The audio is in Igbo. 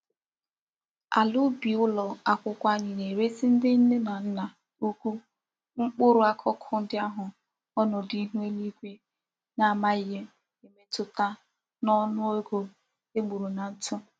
Ala ubi ulo akwukwo anyi na-eresi ndi nne na nna ukwu mkpuru akuku ndi ahu onodu ihu eluigwe n'amaghi emetuta n'onu ego e gburu na ntù.